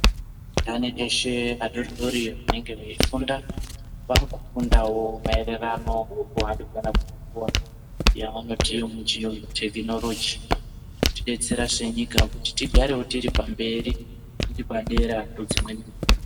Andani eshe adoridori anenge eifunda vakufundawo maererano nekuhambidzana kwenguwa yavanoti muchiyungu tekinoroji kutidetserawo senyika kuti tigarewo tiri pamberi tiri padera pedzimweni nyika.